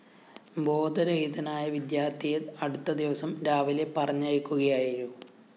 ബോധരഹിതനായ വിദ്യാര്‍ത്ഥിയെ അടുത്ത ദിവസം രാവിലെ പറഞ്ഞയക്കുകയായിരുു